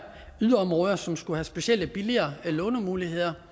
yderområder som skulle have specielle billigere lånemuligheder